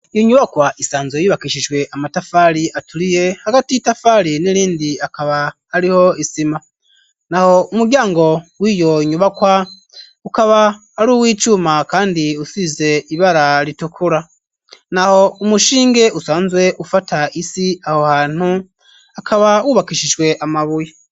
Iyo nyubakwa isanzwe yubakishijwe amatafari aturiye hagati itafari n'irindi hakaba hariho isima, naho umuryango wiyo nyubakwa ukaba ari uwicuma kandi usize ibara ritukura naho, umushinge usanzwe ufata isi aho hantu hakaba wubakishijwe amabuye.